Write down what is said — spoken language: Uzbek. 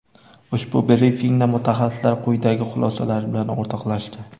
Ushbu brifingda mutaxassislar quyidagi xulosalari bilan o‘rtoqlashdi.